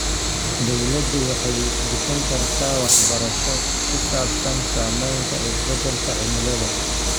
Dawladdu waxay bixin kartaa waxbarasho ku saabsan saamaynta isbeddelka cimilada.